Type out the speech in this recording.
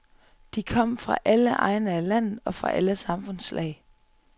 De kom fra alle egne af landet og fra alle samfundslag.